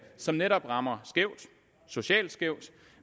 som netop rammer skævt socialt skævt